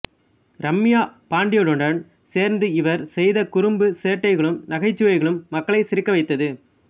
ரம்யா பாண்டியனுடன் சேர்ந்து இவர் செய்த குறும்பு சேட்டைகளும் நகைச்சுவைகளும் மக்களை சிரிக்க வைத்தது